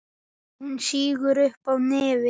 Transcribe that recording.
Hún sýgur upp í nefið.